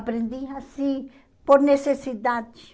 Aprendi assim por necessidade.